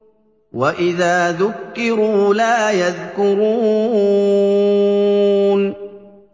وَإِذَا ذُكِّرُوا لَا يَذْكُرُونَ